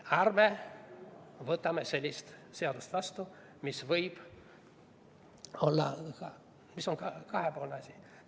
Ärme võtame sellist seadust vastu, mis on kahepoolne asi.